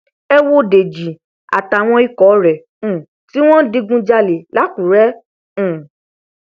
ẹ wo dèjì àtàwọn ikọ rẹ um tí wọn ń digunjalè lákùrẹ um